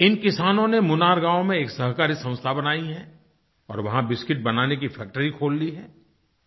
इन किसानों ने मुनार गाँव में एक सहकारी संस्था बनाई है और वहाँ बिस्किट बनाने की फैक्ट्री खोल ली है